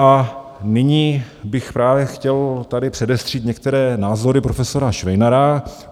A nyní bych právě chtěl tady předestřít některé názory profesora Švejnara.